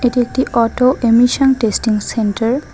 এটি একটি auto emission testing centre.